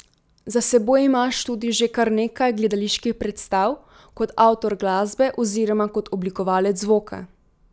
Za seboj imaš tudi že kar nekaj gledaliških predstav kot avtor glasbe oziroma kot oblikovalec zvoka.